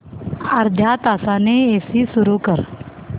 अर्ध्या तासाने एसी सुरू कर